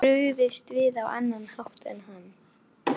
Hefði ég brugðist við á annan hátt en hann?